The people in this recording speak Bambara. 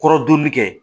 Kɔrɔdonni kɛ